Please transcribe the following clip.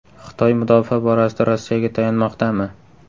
Xitoy mudofaa borasida Rossiyaga tayanmoqdami?